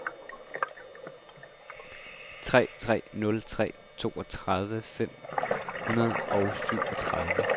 tre tre nul tre toogtredive fem hundrede og syvogtredive